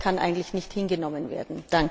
Das kann eigentlich nicht hingenommen werden.